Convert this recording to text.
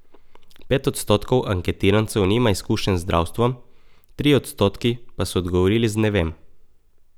Pet odstotkov anketirancev nima izkušenj z zdravstvom, trije odstotki pa so odgovorili z ne vem.